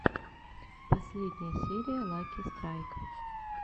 последняя серия лаки страйк